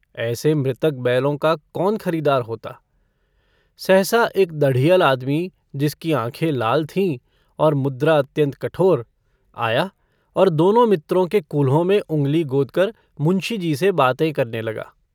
ऐसे मृतक बैलों का कौन खरीदार होता सहसा एक दढ़ियल आदमी जिसकी आँखें लाल थीं और मुद्रा अत्यन्त कठोर आया और दोनों मित्रों के कूल्हों में उँगली गोदकर मुंशीजी से बातें करने लगा।